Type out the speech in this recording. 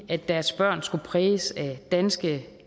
at deres børn skulle præges af danske